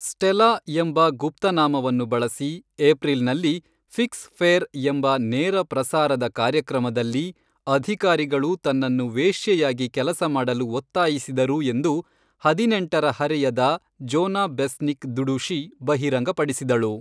Stella' ಎಂಬ ಗುಪ್ತನಾಮವನ್ನು ಬಳಸಿ, ಏಪ್ರಿಲ್ನಲ್ಲಿ 'ಫಿಕ್ಸ್ ಫೇರ್' ಎಂಬ ನೇರಪ್ರಸಾರದ ಕಾರ್ಯಕ್ರಮದಲ್ಲಿ, ಅಧಿಕಾರಿಗಳು ತನ್ನನ್ನು ವೇಶ್ಯೆಯಾಗಿ ಕೆಲಸ ಮಾಡಲು ಒತ್ತಾಯಿಸಿದರು ಎಂದು ಹದಿನೆಂಟರ ಹರೆಯದ ಜೋನಾ ಬೆಸ್ನಿಕ್ ದುಡುಶಿ, ಬಹಿರಂಗಪಡಿಸಿದಳು.